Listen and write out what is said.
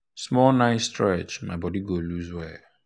small night stretch my body go loose well.